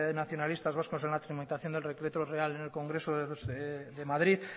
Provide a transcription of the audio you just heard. nacionalistas vascos en la tramitación de del decreto real en el congreso de madrid